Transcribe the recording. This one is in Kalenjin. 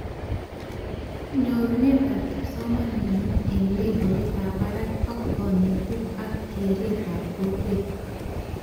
Nyorunetab kipsomanink eng levolitab barak ak konetik ak keretab kokwet